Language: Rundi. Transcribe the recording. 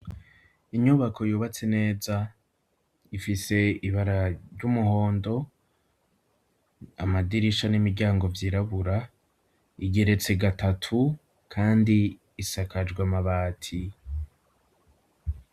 Inyubako yubatse neza ifise ibara ry'umuhondo amadirisha n'imiryango vyirabura, igeretse gatatu kandi isakajwe amabati.